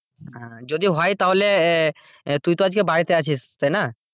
যদি হয় তাহলে আহ তুই তো আজকে বাড়িতে আছিস তাই না?